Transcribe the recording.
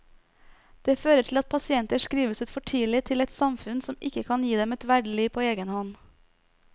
Det fører til at pasienter skrives ut for tidlig til et samfunn som ikke kan gi dem et verdig liv på egen hånd.